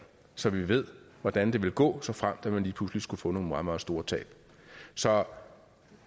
så vi ved hvordan det vil gå såfremt at man lige pludselig skulle få nogle meget meget store tab så